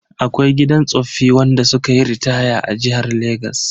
Akwai gidan tsoffi wanda sukayi ritaya a jihar Legas.